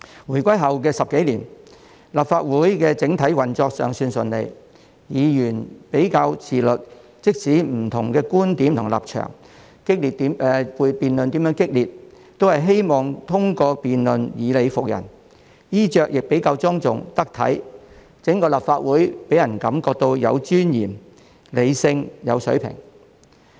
回歸後10多年，立法會的整體運作尚算順利，議員比較自律，即使有不同觀點和立場，有激烈的辯論，都希望通過辯論以理服人，衣着亦比較莊重、得體，整個立法會予人的感覺是有尊嚴、理性及有水平。